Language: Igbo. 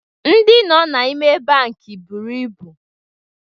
Ndị nọ n'ime bankị buru ibu